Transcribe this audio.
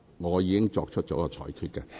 我已作出了裁決。